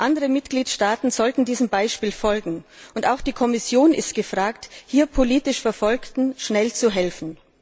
Andere Mitgliedstaaten sollten diesem Beispiel folgen, und auch die Kommission ist gefragt, hier politisch Verfolgten schnell zu helfen.